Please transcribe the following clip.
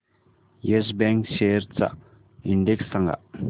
yes bank shares चा index सांगा